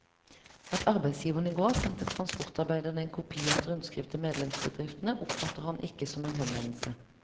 At arbeidsgiverne i går sendte transportarbeiderne en kopi av et rundskriv til medlemsbedriftene, oppfatter han ikke som en henvendelse.